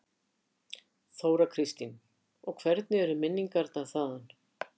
Þóra Kristín: Og hvernig eru minningarnar þaðan?